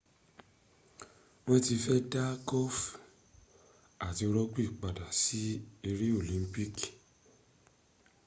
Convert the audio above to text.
won ti fe da golfi ati rugby pada si ere olimpiki